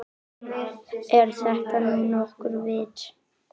Er þetta nú nokkurt vit.